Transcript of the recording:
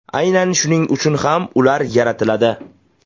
Aynan shuning uchun ham ular yaratiladi.